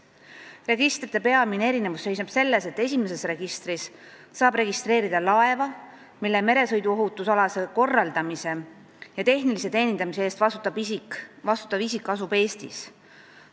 Registrite peamine erinevus seisneb selles, et esimeses registris saab registreerida laeva, mille meresõiduohutusalase korraldamise ja tehnilise teenindamise eest vastutav isik asub Eestis.